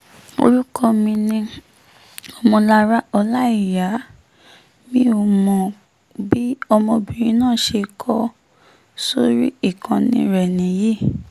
orúkọ mi ni ọmọlára ọlàíyà mimok bí ọmọbìnrin náà ṣe kọ ọ́ sórí ìkànnì rẹ̀ nìyí